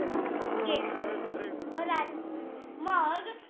गेला म रात मग